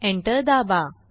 enter दाबा